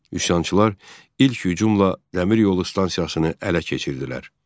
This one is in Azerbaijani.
Üsyançılar ilk hücumla dəmir yolu stansiyasını ələ keçirdilər.